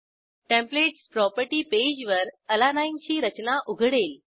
templates property पेजवर अलानीने ची रचना उघडेल